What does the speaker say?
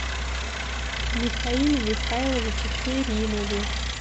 михаиле михайловиче керимове